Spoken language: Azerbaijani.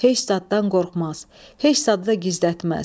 Heç zaddan qorxmaz, heç zaddı da gizlətməz.